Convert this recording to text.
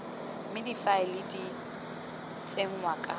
mme difaele di tsenngwa ka